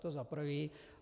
To za prvé.